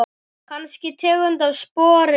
Kannski tegund af spori ný.